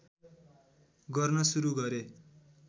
गर्न सुरु गरे